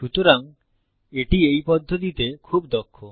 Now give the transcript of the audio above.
সুতরাং এটি এই পদ্ধতিতে খুব দক্ষ